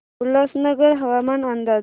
उल्हासनगर हवामान अंदाज